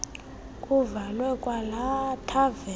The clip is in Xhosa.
kuvalwe kwalaa thaveni